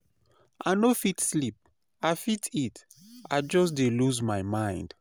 I no fit sleep, i fit eat, i just dey lose my mind.